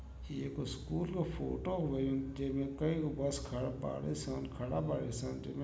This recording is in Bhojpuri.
ये एगो स्कूल क फ़ोटो हउवे जेमें कई गो बस खड़ा बाड़ी सन खड़ा बाड़ी सन। जेमें --